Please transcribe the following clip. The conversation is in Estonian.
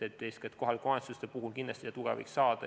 Eeskätt kohalike omavalitsuste puhul kindlasti seda tuge võiks saada.